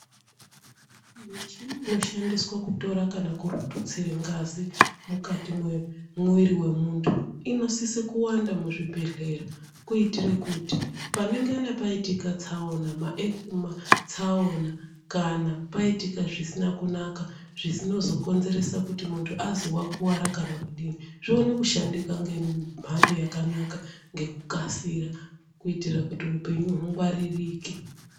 Muchini inoshandiswa kutora kana kututsire ngazi mukati mwemwiri wemuntu inosise kuwanda muzvibhedhleya kuitire kuti panengana paitike tsaona kana paitika zvisina kunaka zvinozokonzeresa kuti muntu azwi wakuwara kana kudini zvione kushandika ngemhando yakanaka ngekukasira kuitire kuti upenyu hungwaririke.